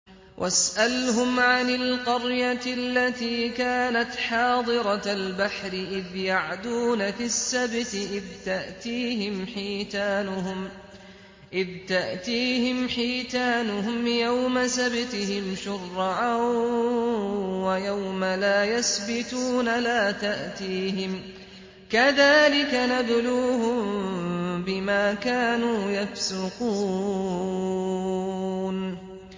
وَاسْأَلْهُمْ عَنِ الْقَرْيَةِ الَّتِي كَانَتْ حَاضِرَةَ الْبَحْرِ إِذْ يَعْدُونَ فِي السَّبْتِ إِذْ تَأْتِيهِمْ حِيتَانُهُمْ يَوْمَ سَبْتِهِمْ شُرَّعًا وَيَوْمَ لَا يَسْبِتُونَ ۙ لَا تَأْتِيهِمْ ۚ كَذَٰلِكَ نَبْلُوهُم بِمَا كَانُوا يَفْسُقُونَ